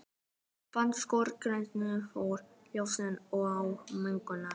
Barnakór syngur margraddaðan jólasálm á gangstétt.